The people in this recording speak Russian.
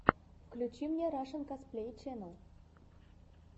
включи мне рашэн косплей ченел